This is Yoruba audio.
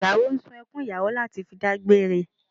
Ìyàwó ń sun ẹkùn ìyàwó láti fi dágbére